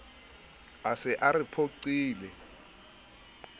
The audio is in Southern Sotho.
a se a re phoqile